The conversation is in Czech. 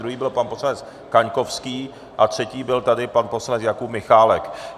Druhý byl pan poslanec Kaňkovský a třetí byl tady pan poslanec Jakub Michálek.